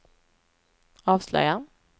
avslöjar